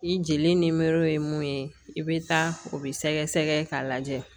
I jeli nimoro ye mun ye i bɛ taa o bɛ sɛgɛsɛgɛ k'a lajɛ